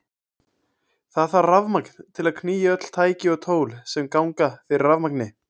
Það þarf rafmagn til að knýja öll tæki og tól sem ganga fyrir rafmagni.